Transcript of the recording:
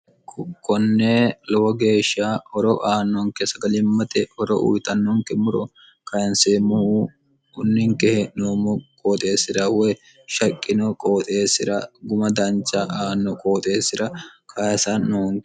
konnee lowo geeshsha horo aannonke sagalimmate horo uyitannonke muro kayinseemmohu ninke he'noommo qooxeessira woy shaqqino qooxeessira guma dancha aanno qooxeessira kayisa noonke